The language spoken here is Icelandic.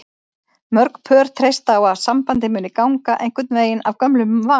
Mörg pör treysta á að sambandið muni ganga einhvern veginn af gömlum vana.